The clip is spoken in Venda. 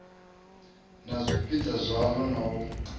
na zwipiḓa zwaḽo na u